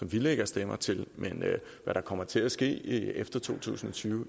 vi lægger stemmer til men hvad der kommer til at ske efter to tusind og tyve